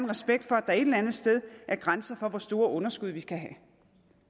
respekt for at der et eller andet sted er grænser for hvor store underskud vi skal have